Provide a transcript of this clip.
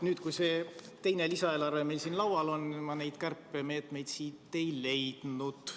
Nüüd, kui see teine lisaeelarve meil siin laual on, ma neid kärpemeetmeid siit ei leidnud.